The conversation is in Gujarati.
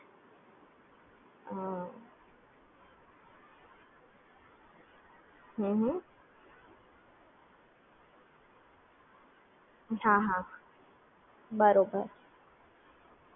બરોબર